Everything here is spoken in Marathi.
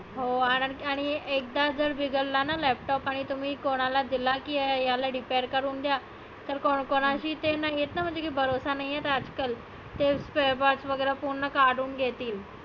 हो आज एकदा जर बिघडला laptop आणि तुम्ही कोणाला दिला की याला repair करु द्या तर कोण कोणाची ते नाहीए ना म्हणजे भरोसा नाहीए तर आज कल. ते spare parts सर्व काढुन घेतील.